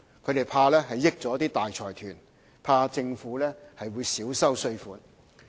他們怕會便宜了大財團，怕政府會少收稅款。